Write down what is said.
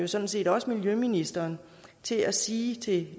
sådan set også miljøministeren til at sige til